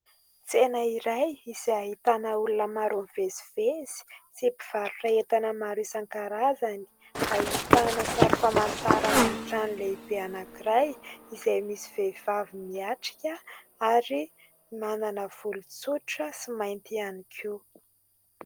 Tsena iray izay ahitana olona maro mivezivezy sy mpivarotra entana maro isan-karazany. Ahitana sari-pamantarana amin'ny trano lehibe anankiray izay misy vehivavy mihatrika ary manana volo tsotra sy mainty ihany koa.